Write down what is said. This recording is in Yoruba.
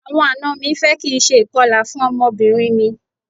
Àwọn àna mi fẹ́ kí n ṣe ìkọlà fún ọmọbìnrin mi.